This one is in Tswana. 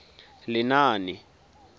lenaane